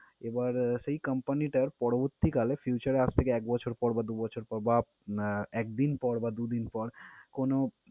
এবার সেই company টা পরবর্তিকালে future এ আজ থেকে এক বছর পর বা দুই বছর পর বা আহ একদিন পর বা দুইদিন পর কোন